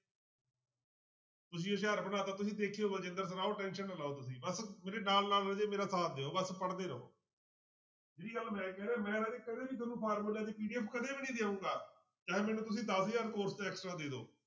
ਤੁਸੀਂ ਹਜ਼ਾਰ ਬਣਾ ਦਿੱਤਾ ਤੁਸੀਂ tension ਨਾ ਲਓ ਤੁਸੀਂ ਬਸ ਮੇਰੇ ਨਾਲ ਨਾਲ ਰਾਜੇ ਮੇਰੇ ਸਾਥ ਦਿਓ ਬਸ ਪੜ੍ਹਦੇ ਰਹੋ ਜਿਹੜੀ ਗੱਲ ਮੈਂ ਕਹਿ ਰਿਹਾਂ ਮੈਂ ਰਾਜੇ ਕਦੇ ਵੀ ਤੁਹਾਨੂੰ ਫਾਰਮੂਲਿਆਂ ਦੀ PDF ਕਦੇ ਵੀ ਨੀ ਦਊਂਗਾ ਚਾਹੇ ਮੈਨੂੰ ਤੁਸੀਂ ਦਸ ਹਜ਼ਾਰ course 'ਚ extra ਦੇ ਦਓ